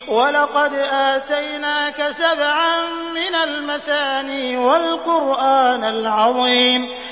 وَلَقَدْ آتَيْنَاكَ سَبْعًا مِّنَ الْمَثَانِي وَالْقُرْآنَ الْعَظِيمَ